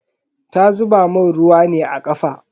Ta zuba mun ruwa ne a kafa.